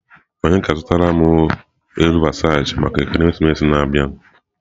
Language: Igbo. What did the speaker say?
Onye ga-azụtara m uwe elu Versachi maka ekeresimesi a na-abịa?